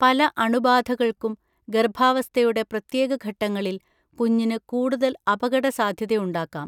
പല അണുബാധകൾക്കും, ഗർഭാവസ്ഥയുടെ പ്രത്യേക ഘട്ടങ്ങളിൽ കുഞ്ഞിന് കൂടുതൽ അപകടസാധ്യതയുണ്ടാക്കാം